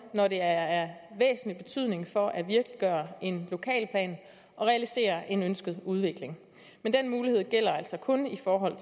når det er af væsentlig betydning for at virkeliggøre en lokalplan og realisere en ønsket udvikling men den mulighed gælder altså kun i forhold